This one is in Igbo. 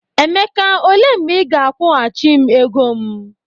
Emeka, ole mgbe ị ga-akwọgachi m ego m?